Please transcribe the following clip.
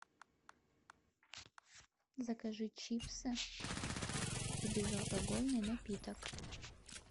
закажи чипсы и безалкогольный напиток